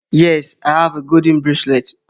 Yes, I have a golden bracelet